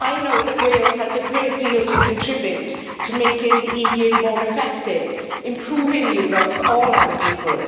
I know that Wales has a great deal to contribute to making the EU more effective and improving Europe for all our peoples.